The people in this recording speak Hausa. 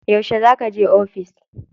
Yauce za kaje ofis?